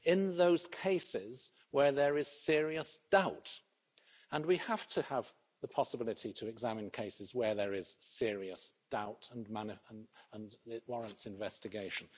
In those cases where there is serious doubt, we have to have the possibility of examination where there is serious doubt and it warrants investigation.